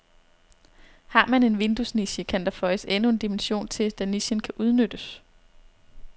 Har man en vinduesniche, kan der føjes endnu en dimension til, da nichen kan udnyttes.